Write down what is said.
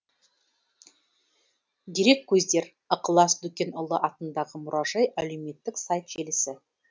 дереккөздер ықылас дүкенұлы атындағы мұражай әлеумметтік сайт желісі